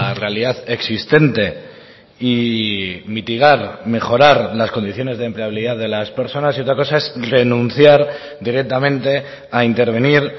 realidad existente y mitigar mejorar las condiciones de empleabilidad de las personas y otra cosa es renunciar directamente a intervenir